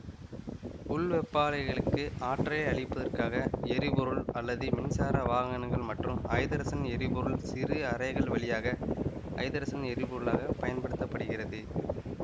உள்வெப்பாலைகளுக்கு ஆற்றலை அளிப்பதற்காக எரிபொருள் அல்லது மின்சார வாகனங்கள் மற்றும் ஐதரசன் எரிபொருள் சிறு அறைகள் வழியாக ஐதரசன் எரி பொருளாக பயன்படுத்த படுகிறது